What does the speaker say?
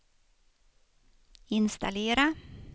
installera